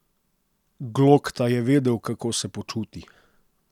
Glokta je vedel, kako se počuti.